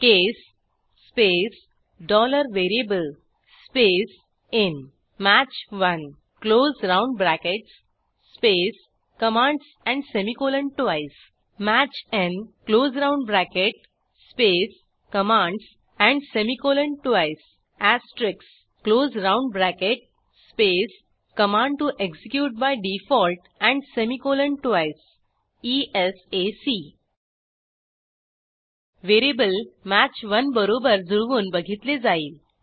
case space VARIABLE space in match 1 close round brackets space commands and semicolon twice match n close round bracket space commands and semicolon twice asterisk close round bracket space command to execute by default and semicolon twice esac variable match 1बरोबर जुळवून बघितले जाईल